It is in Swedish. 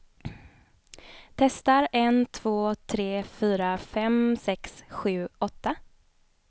Testar en två tre fyra fem sex sju åtta.